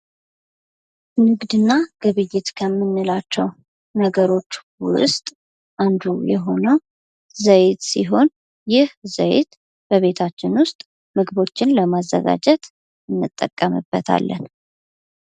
ንግድ እና ግብይት ከምንላቸው ነገሮች ውስጥ አንዱ ዘዬ ሲሆን ይህ ዘይት በቤታችን ውስጥ ምግቦችን ለማዘጋጀት እንጠቀምበታለን።